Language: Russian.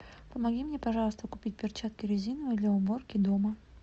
помоги мне пожалуйста купить перчатки резиновые для уборки дома